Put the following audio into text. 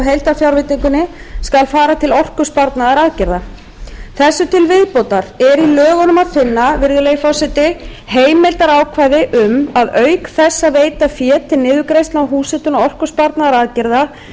skal fara til orkusparnaðaraðgerða þessu til viðbótar er í lögunum að finna virðulegi forseti heimildarákvæði um að auk þess að veita fé til niðurgreiðslna á húshitun og orkusparnaðaraðgerða sé heimilt að veita